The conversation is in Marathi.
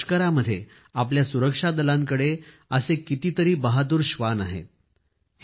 आपल्या लष्करामध्ये आपल्या सुरक्षा दलांकडे असे कितीतरी बहादूर श्वान आहेत